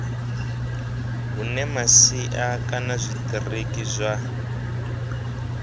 hune masia kana zwitiriki zwa